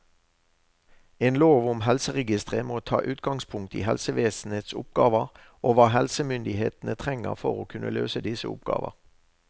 En lov om helseregistre må ta utgangspunkt i helsevesenets oppgaver og hva helsemyndighetene trenger for å kunne løse disse oppgaver.